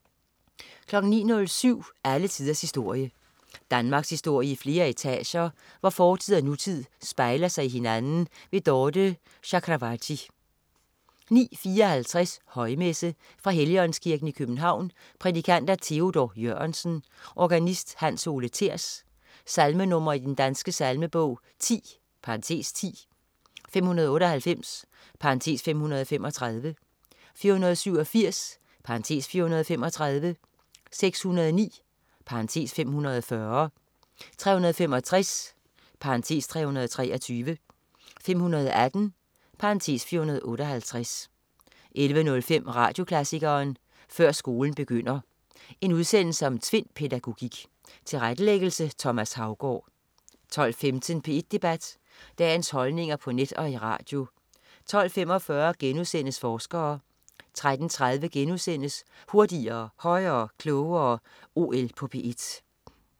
09.07 Alle tiders historie. Danmarkshistorie i flere etager, hvor fortid og nutid spejler sig i hinanden. Dorthe Chakravarty 09.54 Højmesse. Fra Helligåndskirken, København. Prædikant: Theodor Jørgensen. Organist: Hans Ole Thers. Salmenr. i Den Danske Salmebog: 10 (10), 598 (535), 487 (435), 609 (540), 365 (323), 518 (458) 11.05 Radioklassikeren. Før skolen begynder. En udsendelse om Tvind-pædagogik. Tilrettelæggelse: Thomas Haugaard 12.15 P1 Debat. Dagens holdninger på net og i radio 12.45 Forskere* 13.30 Hurtigere, højere, klogere. OL på P1*